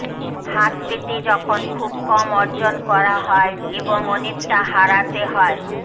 হাত পেতে যখন খুব কম অর্জন করা হয় এবং অনেকটা হারাতে হয়